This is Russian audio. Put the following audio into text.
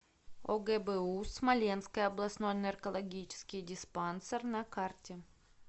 огбу смоленский областной наркологический диспансер на карте